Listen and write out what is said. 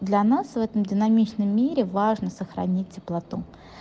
для нас в этом динамичном мире важно сохранить теплоту